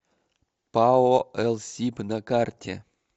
пао элсиб на карте